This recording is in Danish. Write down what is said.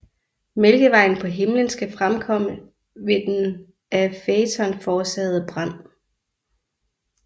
Mælkevejen på himmelen skal være fremkommet ved den af Faeton forårsagede brand